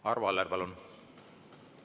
Arvo Aller, palun!